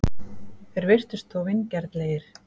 Þeir virtust þó vingjarnlegir.